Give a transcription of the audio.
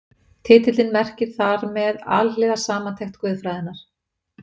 Titillinn merkir þar með Alhliða samantekt guðfræðinnar.